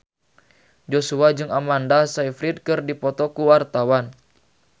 Joshua jeung Amanda Sayfried keur dipoto ku wartawan